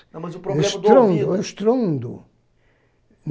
Mas o problema do ouvido. É o estrondo, é o estrondo.